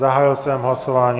Zahájil jsem hlasování.